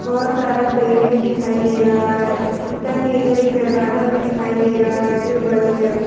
बहोत सारा पेड़ भी दिखाई दे रहा है जूता के इधर एक दरवाजा भी दिखाई दे रहा है जो बंद है।